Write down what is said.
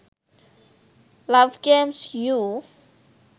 love games you